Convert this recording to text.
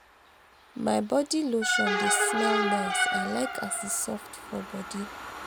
my body lotion dey smell nice; i like as e soft for body.